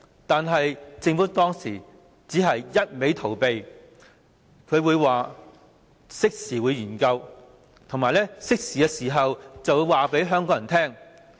但是，政府當時只是一直逃避，推說會作適時研究，以及在適當時候告訴香港人。